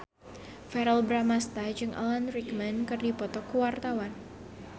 Verrell Bramastra jeung Alan Rickman keur dipoto ku wartawan